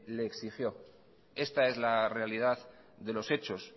le exigió esta es la realidad de los hechos